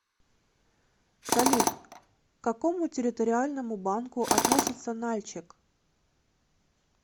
салют к какому территориальному банку относится нальчик